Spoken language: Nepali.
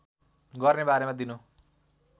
गर्ने बारेमा दिनु